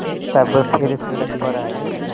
तब फिर सड़क पर आये